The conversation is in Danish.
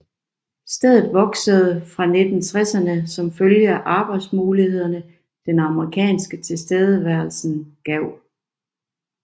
Stedet voksede fra 1960erne som følge af arbejdsmulighederne den amerikanske tilstedeværelsen gav